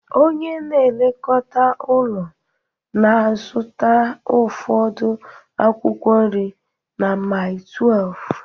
Onye na-elekọta ụlọ na-azụta ụfọdụ akwụkwọ nri na Mile 12